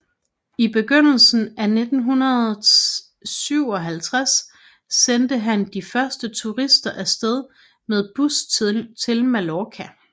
I begyndelsen af 1957 sendte han de første turister af sted med bus til Mallorca